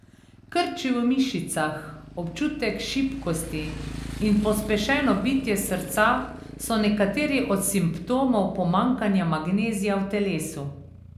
Krči v mišicah, občutek šibkosti in pospešeno bitje srca so nekateri od simptomov pomanjkanja magnezija v telesu.